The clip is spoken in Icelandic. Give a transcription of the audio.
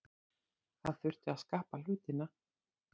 Það þurfti að skapa hlutina.